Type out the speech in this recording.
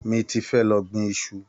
Mi ti fé lọ gbin iṣu.